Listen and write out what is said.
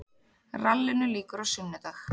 Rallinu lýkur á sunnudag